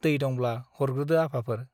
दै दंब्ला हरग्रोदो आफाफोर ।